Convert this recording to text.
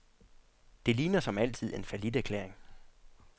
Det ligner som altid en falliterklæring.